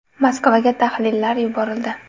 Moskvaga tahlillar yuborildi.